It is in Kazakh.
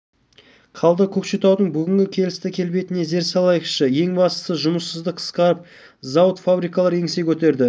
қалды көкшетаудың бүгінгі келісті келбетіне зер салайықшы ең бастысы жұмыссыздық қысқарып зауыт фабрикалар еңсе көтерді